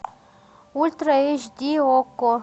ультра эйч ди окко